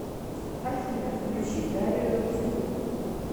афина включи дарию рудскую